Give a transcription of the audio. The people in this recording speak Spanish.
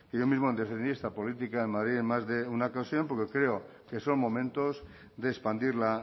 que yo mismo defendí esta política en madrid en más de una ocasión porque creo que son momentos de expandir